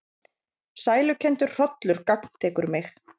Sælukenndur hrollur gagntekur mig.